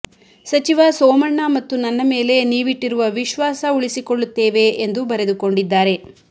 ಸಚಿವ ಸೋಮಣ್ಣ ಮತ್ತು ನನ್ನ ಮೇಲೆ ನೀವಿಟ್ಟಿರುವ ವಿಶ್ವಾಸ ಉಳಿಸಿಕೊಳ್ಳುತ್ತೇವೆ ಎಂದು ಬರೆದು ಕೊಂಡಿದ್ದಾರೆ